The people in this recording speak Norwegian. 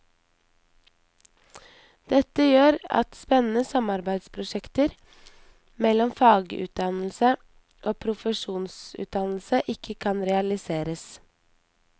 Dette gjør at spennende samarbeidsprosjekter mellom fagutdannelse og profesjonsutdannelse ikke kan realiseres.